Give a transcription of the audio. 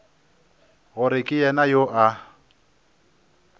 gore ke yena yo a